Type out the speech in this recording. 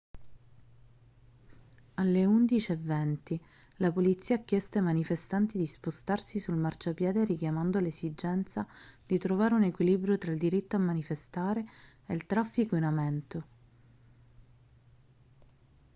alle 11:20 la polizia ha chiesto ai manifestanti di spostarsi sul marciapiede richiamando l'esigenza di trovare un equilibrio tra il diritto a manifestare e il traffico in aumento